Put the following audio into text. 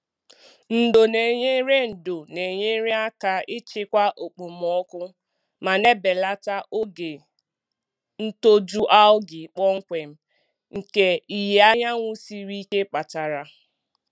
Ndo na-enyere Ndo na-enyere aka ịchịkwa okpomọkụ ma na-ebelata oge ntoju algae kpọmkwem nke ìhè anyanwụ siri ike kpatara.